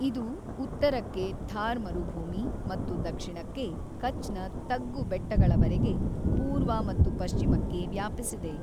ಇದು ಉತ್ತರಕ್ಕೆ ಥಾರ್ ಮರುಭೂಮಿ ಮತ್ತು ದಕ್ಷಿಣಕ್ಕೆ ಕಚ್‌ನ ತಗ್ಗು ಬೆಟ್ಟಗಳವರೆಗೆ, ಪೂರ್ವ ಮತ್ತು ಪಶ್ಚಿಮಕ್ಕೆ ವ್ಯಾಪಿಸಿದೆ.